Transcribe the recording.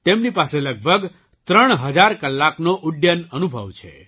તેમની પાસે લગભગ ૩ હજાર કલાકનો ઉડ્ડયન અનુભવ છે